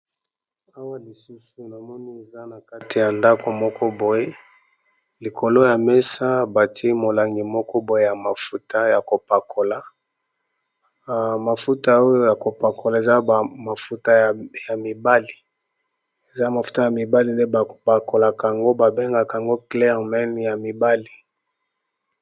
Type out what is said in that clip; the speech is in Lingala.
Awa lisusu na moni eza na kati ya ndako moko boye likolo ya mesa ba titié e molangi moko boye ya mafuta ya kopakola. Mafuta oyo ya ko pakola eza ba mafuta ya mibali eza mafuta ya mibali nde ba pakolaka yango, ba bengaka yango clair men, ya mibali .